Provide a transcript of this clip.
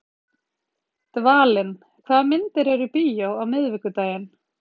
Dvalinn, hvaða myndir eru í bíó á miðvikudaginn?